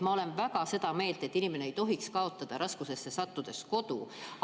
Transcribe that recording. Ma olen väga seda meelt, et inimene ei tohiks kaotada raskustesse sattudes kodu.